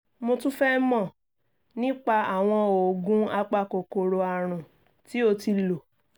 mo tún fẹ́ mọ̀ nípa àwọn oògùn apakòkòrò àrùn tí o ti lò